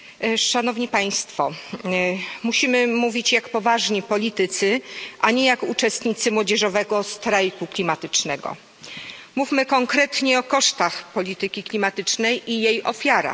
Pani Przewodnicząca! Musimy mówić jak poważni politycy, a nie jak uczestnicy młodzieżowego strajku klimatycznego. Mówmy konkretnie o kosztach polityki klimatycznej i jej ofiarach.